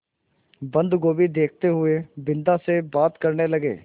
बन्दगोभी देखते हुए बिन्दा से बात करने लगे